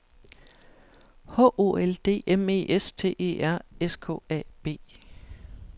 H O L D M E S T E R S K A B